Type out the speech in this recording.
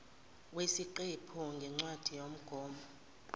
wesiqephu ngencwadi yomgomo